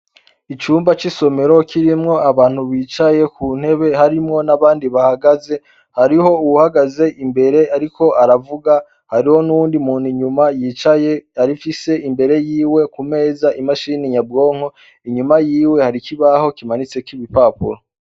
Icumba c'isomero kirimwo abantu bicaye ku ntebe harimwo n'abandi bahagaze. Hariho uwuhagaze imbere ariko aravuga. Hariho n'uwundi muntu inyuma yicaye afise imbere yiwe ku meza imashini nyabwonko. Inyuma yiwe hari ikibaho kimanitseho ibipapuro